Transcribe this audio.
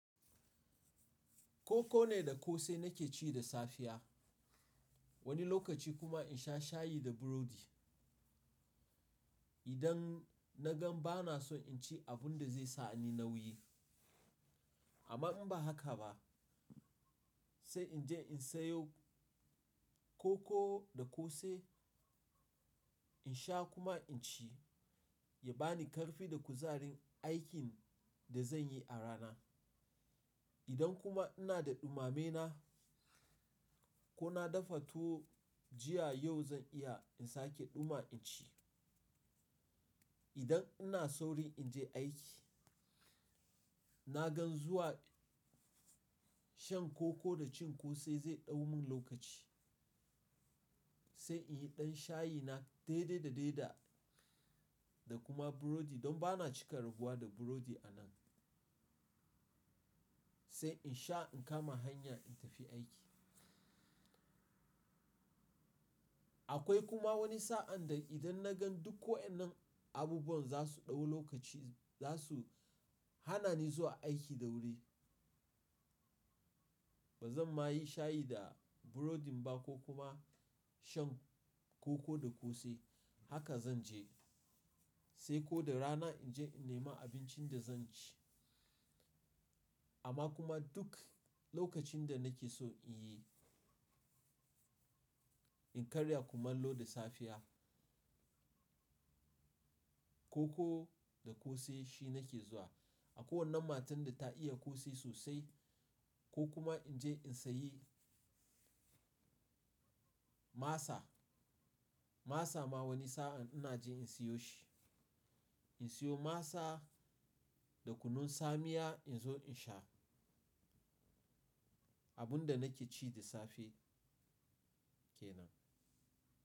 Koko ne da ƙosai nake ci da safiya. Wani lokaci kuma in sha shayi da burodi. Idan na gan ba na son in ci abun da zai sa ni nauyi. Amma in ba haka ba, sai in je in sayo koko da ƙosai in sha kuma in ci, ya ba ni ƙarfi da kuzarin aikin da zan yi a rana. Idan kuma ina da ɗumame na, ko na dafa tuwo jiya, yau zan iya in sake ɗuma in ci. Idan ina saurin in je aiki, na gan zuwa shan koko da cin ƙosai zai ɗau mun lokaci. Sai in yi ɗan shayina daidai da daida, da kuma burodi don ba na cika raguwa da burodi a nan. Sai in sha in kama hanya in tafi aiki. Akwai kuma wani sa'an da idan na gan duk waɗannan abubuwan za su ɗau lokaci, za su hana ni zuwa aiki da wuri. Ba zan ma yi shayi da burodin ba ko kuma shan koko da ƙosai. Haka zan je sai ko da rana in je in nema abincin da zan ci. Amma kuma duk lokacin da nake so in yi, in karya kuma in loda safiya, koko da kose shi nake zuwa. Akwai wannan matar da ta iya ƙosai sosai, ko kuma in je in sayi. Masa, masa ma wani sa'an ina je in siyo shi. In siyo masa da kunun tsamiya, in zo in sha. Abun da nake ci da safe kenan.